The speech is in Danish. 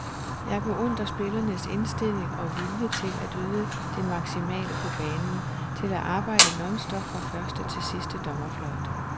Jeg beundrer spillernes indstilling og vilje til at yde det maksimale på banen, til at arbejde nonstop fra første til sidste dommerfløjt.